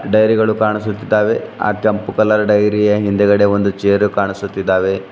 Dairy ಗಳು ಕಾಣಿಸುತಿದ್ದಾವೆ ಆ ಕೆಂಪು ಕಲರ್ ಡೈರಿ ಯ ಹಿಂದ್ಗಡೆ ಒಂದು ಚೇರು ಕಾಣಿಸುತ್ತಿದ್ದಾವೆ.